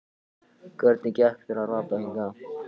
Hvernig gekk þér að rata hingað?